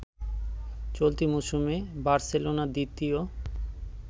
চলতি মৌসুমে বার্সেলোনা দ্বিতীয়